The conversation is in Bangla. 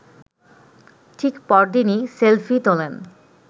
ঠিক পরদিনই সেলফি তোলেন